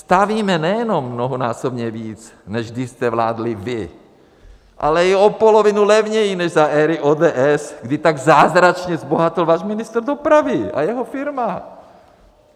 Stavíme nejenom mnohonásobně víc, než když jste vládli vy, ale i o polovinu levněji než za éry ODS, kdy tak zázračně zbohatl váš ministr dopravy a jeho firma.